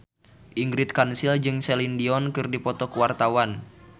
Ingrid Kansil jeung Celine Dion keur dipoto ku wartawan